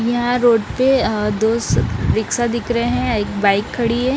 यहाँ रोड में अ दो रिक्शा दिख रहे हैं एक बाइक खड़ी हैं ।